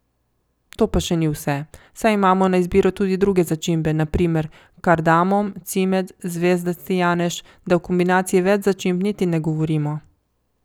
To pa še ni vse, saj imamo na izbiro tudi druge začimbe, na primer kardamom, cimet, zvezdasti janež, da o kombinaciji več začimb niti ne govorimo.